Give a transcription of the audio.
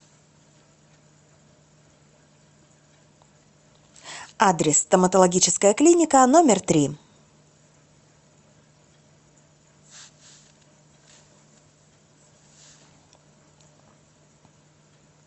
адрес стоматологическая клиника номер три